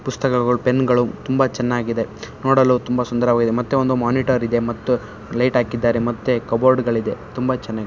ಪುಸ್ತಕಗಳು ಪೆನ್ಗಳು ತುಂಬ ಚೆನ್ನಾಗಿದೆ. ನೋಡಲು ತುಂಬಾ ಸುಂದರವಾಗಿದೆ ಮತ್ತೆ ಒಂದು ಮಾನಿಟರ್ ಇದೆ ಮತ್ತು ಲೈಟ್ ಹಾಕಿದ್ದಾರೆ ಮತ್ತೆ ಕಬೋರ್ಡ್ ಗಳಿದೆ ತುಂಬ ಚೆನ್ನಾಗಿದೆ.